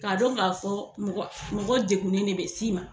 Ka dɔn ka fɔ mɔgɔ mɔgɔ degunen de bɛ s'i ma.